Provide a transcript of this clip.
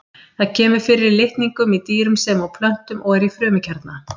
Það kemur fyrir í litningum í dýrum sem og plöntum og er í frumukjarna.